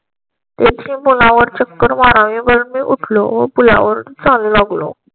त्या मुला वर चक्कर मारावी वर मी उठलो. पुलावर चालू लागलो.